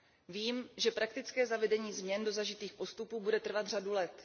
Vím, že praktické zavedení změn do zažitých postupů bude trvat řadu let.